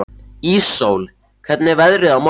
Íssól, hvernig er veðrið á morgun?